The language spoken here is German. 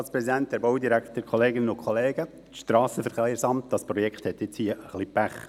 Das Projekt Strassenverkehrsamt hat jetzt ein bisschen Pech.